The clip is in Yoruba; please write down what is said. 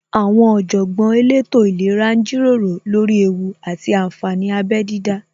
Àwọn Ọ̀jọ̀gbọ́n elétò ìlera ń jíròrò lórí ewú àti ànfàní abẹ dídá